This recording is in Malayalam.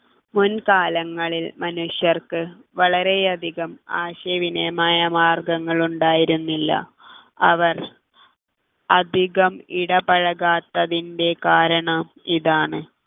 മുൻകാലങ്ങളിൽ മനുഷ്യർക്ക് വളരെയധികം ആശയവിനിമ മാർഗങ്ങൾ ഉണ്ടായിരുന്നില്ല അവർ അധികം ഇടപഴകാത്തതിൻ്റെ കാരണം ഇതാണ്